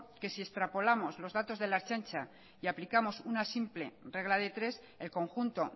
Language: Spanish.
que si extrapolamos los datos de la ertzaintza y aplicamos una simple regla de tres el conjunto